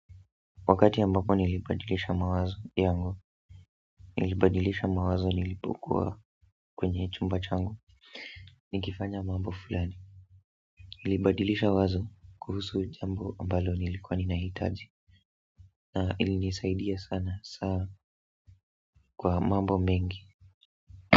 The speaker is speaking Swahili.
Wakati ambapo nilibadilisha mawazo yangu, nilibadilisha mawazo nilipokuwa kwenye chumba changu nikifanya mambo fulani, nilibadilisha wazo kuhusu jambo ambalo nilikuwa ninahitaji na ilinisaidia sana kwa mambo mengi.